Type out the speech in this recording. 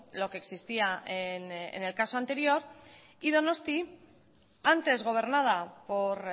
lo que existía en el caso anterior y donosti antes gobernada por